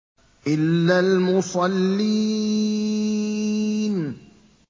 إِلَّا الْمُصَلِّينَ